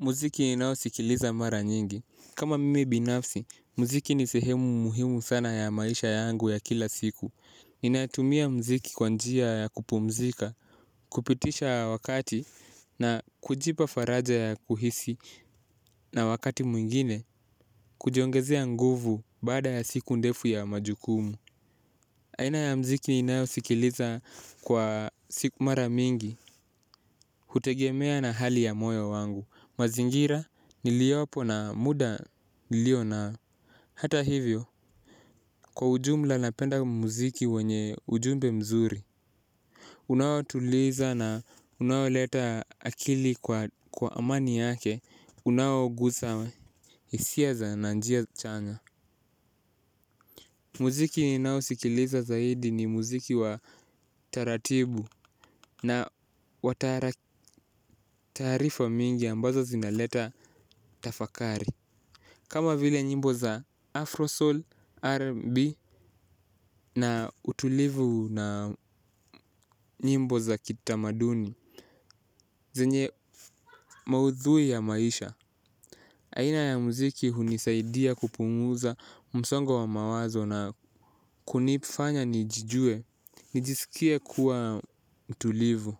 Muziki ninaosikiliza mara nyingi. Kama mimi binafsi, muziki ni sehemu muhimu sana ya maisha yangu ya kila siku. Ninatumia mziki kwa njia ya kupumzika, kupitisha wakati, na kujipa faraja ya kuhisi, na wakati mwingine, kujiongezea nguvu baada ya siku ndefu ya majukumu. Aina ya mziki ninaosikiliza kwa siku mara mingi. Hutegemea na hali ya moyo wangu, mazingira niliyopo na muda nilio nao. Hata hivyo, kwa ujumla napenda muziki wenye ujumbe mzuri unaotuliza na unaoleta akili kwa amani yake, unaogusa hisia za na njia chanya. Mziki ninao sikiliza zaidi ni mziki wa taratibu na wa taarifa mingi ambazo zinaleta tafakari. Kama vile nyimbo za Afro Soul, rnb, na utulivu na nyimbo za kitamaduni zenye maudhui ya maisha. Aina ya mziki hunisaidia kupunguza msongo wa mawazo na kunifanya nijijue nijisikie kuwa mtulivu.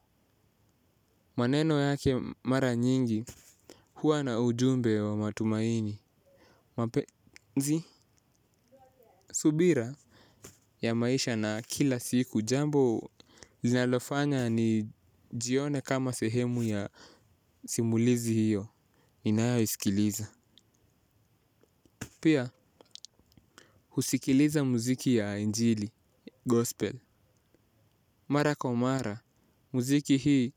Maneno yake mara nyingi huwa na ujumbe wa matumaini. Mapenzi subira ya maisha na kila siku, jambo linalofanya nijione kama sehemu ya simulizi hiyo, ninayoisikiliza. Pia, husikiliza muziki ya injili, gospel. Mara kwa mara, mziki hii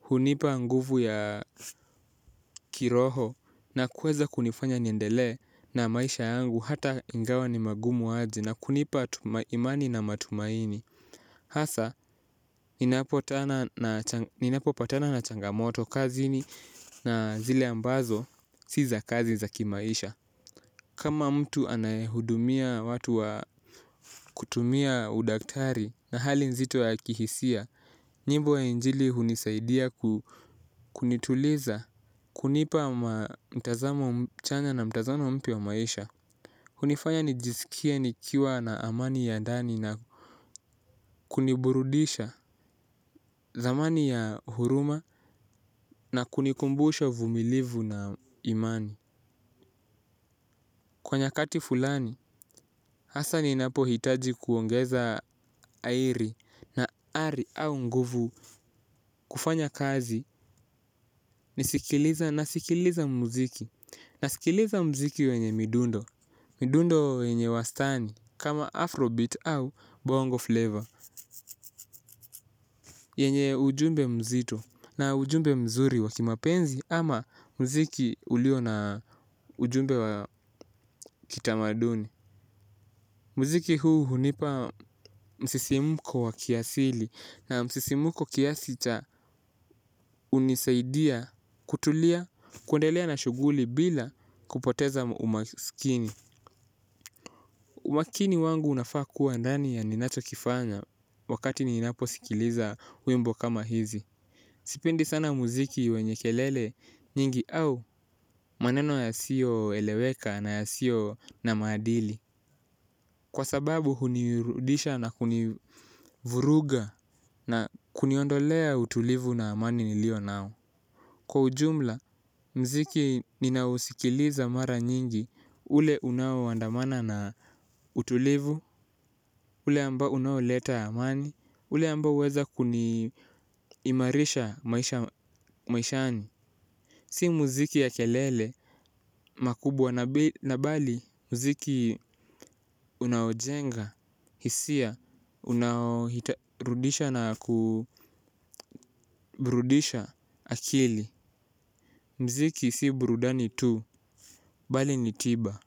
hunipa nguvu ya kiroho na kueza kunifanya niendelee na maisha yangu. Hata ingawa ni magumu ajy na kunipa imani na matumaini. Hasa, ninapo patana na changamoto kazini na zile ambazo si za kazi za kimaisha. Kama mtu anayehudumia watu wa kutumia udaktari na hali nzito ya kihisia. Nyimbo ya injili hunisaidia kunituliza kunipa mtazamo chanya na mtazamo mpya wa maisha. Hunifanya nijisikie nikiwa na amani ya ndani na kuniburudisha thamani ya huruma na kunikumbusha uvumilivu na imani kwa nyakati fulani hasa ninapohitaji kuongeza na ari au nguvu kufanya kazi. Nasikiliza mziki wenye midundo. Midundo yenye wastani kama Afro beat au bongo flavour yenye ujumbe mzito na ujumbe mzuri wakimapenzi ama mziki ulio na ujumbe wa kitamaduni. Mziki huu hunipa msisimko wa kiasili na msisimko kiasi cha hunisaidia kutulia, kuendelea na shughuli bila kupoteza umaskini. Umakini wangu unafaa kuwa ndani ya ninacho kifanya wakati ninapo sikiliza wimbo kama hizi. Sipendi sana mziki wenye kelele nyingi au maneno yasiyoeleweka na yasiyo na maadili. Kwa sababu hunirudisha na kunivuruga na kuniondolea utulivu na amani niliyo nao. Kwa ujumla, muziki ninaousikiliza mara nyingi ule unaoandamana na utulivu, ule ambao unaoleta amani, ule ambao huweza kuimarisha maishani. Si mziki ya kelele makubwa na mbali mziki unaojenga hisia unaorudisha na kuburudisha akili. Mziki si burudani tu bali ni tiba.